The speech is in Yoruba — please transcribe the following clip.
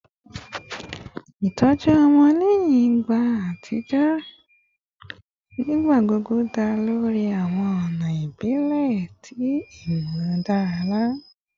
Itọju ọmọ lẹhin igba atijọ nigbagbogbo da lori awọn ọna ibile ti imularada